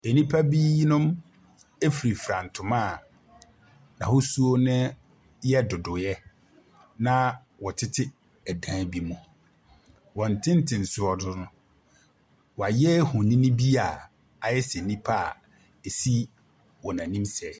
Nnipa binom efirafira ntoma a n'ahosuo no yɛ dodoyɛ na wɔtete dan bi mu. Wɔn tentensoɔ no woayɛ ohoni bia woayɛ sɛ nnipa esi wɔn anim sɛɛ.